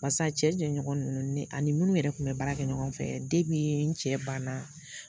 Barisa cɛ jɛnɔgɔn ninnu ni ani minnu yɛrɛ kun bɛ baara kɛ ɲɔgɔn fɛ n cɛ ban na